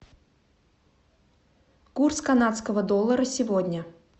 курс канадского доллара сегодня